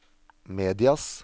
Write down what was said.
medias